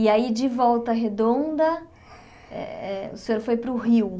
E aí, de Volta Redonda eh, o senhor foi para o Rio.